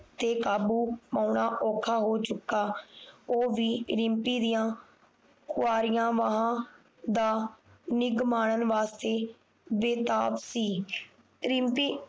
ਤੇ ਕਾਬੂ ਪਾਉਣਾ ਔਖਾ ਹੋ ਚੁੱਕਾ ਉਹ ਵੀ ਰਿਮਪੀ ਦੀਆ ਕੁਆਰੀਆਂ ਬਾਹਾਂ ਦਾ ਨਿੱਘ ਮਾਨਣ ਵਾਸਤੇ ਬੇਤਾਬ ਸੀ ਰਿਮਪੀ